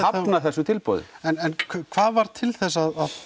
hafna þessu tilboði en hvað varð til þess að